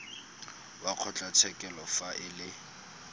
wa kgotlatshekelo fa e le